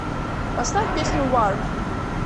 поставь песню вар